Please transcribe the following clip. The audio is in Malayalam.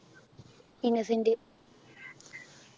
ഇന്നസെൻറ്റ്